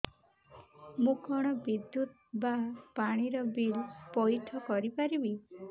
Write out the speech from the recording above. ମୁ କଣ ବିଦ୍ୟୁତ ବା ପାଣି ର ବିଲ ପଇଠ କରି ପାରିବି